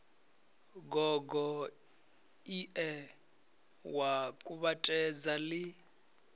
gogo ie wa kuvhatedza li